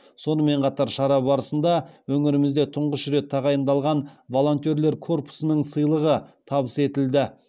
сонымен қатар шара барысында өңірімізде тұңғыш рет тағайындалған волонтерлер корпусының сыйлығы табыс етілді